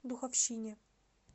духовщине